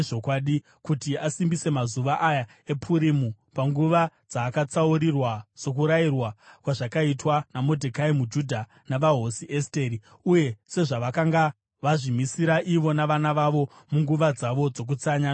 kuti asimbise mazuva aya ePurimu panguva dzaakatsaurirwa, sokurayirwa kwazvakaitwa naModhekai muJudha navaHosi Esteri, uye sezvavakanga vazvimisira ivo navana vavo munguva dzavo dzokutsanya nokuchema.